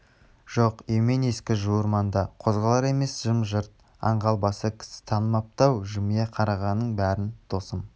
жоқ емен ескі жуыр маңда қозғалар емес жым-жырт аңғал басы кісі танымапты-ау жымия қарағанның бәрін досым